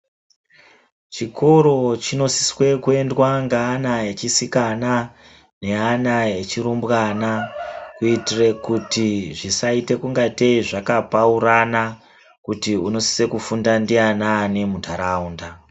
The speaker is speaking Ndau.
Chikoro chinosiswe kuendwa ngeana echisikana neana echirumbwana kuitire kuti zvazvisaite ungatei kupaurana kuti unosise kufunda ndianani muntaraunda.